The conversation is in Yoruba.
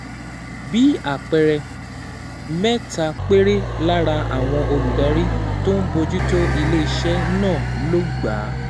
Bí àpẹẹrẹ, mẹ́ta péré lára àwọn olùdarí tó ń bójú tó ilé iṣẹ́ náà ló gba